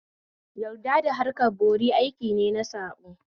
Yadda da harkan bori aiki ne na saɓo